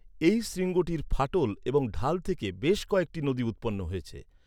এই শৃঙ্গটির ফাটল এবং ঢাল থেকে বেশ কয়েকটি নদী উৎপন্ন হয়েছে।